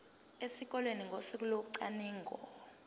esikoleni ngosuku locwaningo